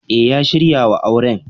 E, ya shirya wa auren.